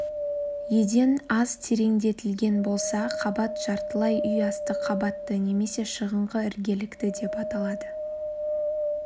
еден аз терендетілген болса қабат жартылай үй асты қабатты немесе шығыңқы іргелікті деп аталады